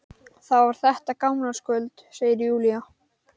Það var þetta gamlárskvöld, segir Júlía.